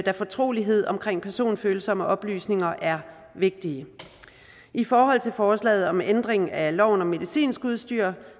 da fortrolighed omkring personfølsomme oplysninger er vigtigt i forhold til forslaget om ændring af loven om medicinsk udstyr